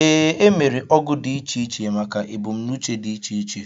Ee, emere ogu dị iche iche maka ebumnuche dị iche iche